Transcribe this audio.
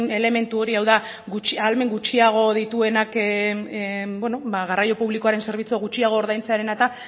elementu hori hau da ahalmen gutxiago dituenak bueno ba garraio publikoaren zerbitzua gutxiago ordaintzearena eta